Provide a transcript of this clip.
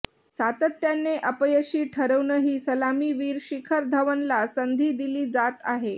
सातत्याने अपयशी ठरूनही सलामीवीर शिखर धवनला संधी दिली जात आहे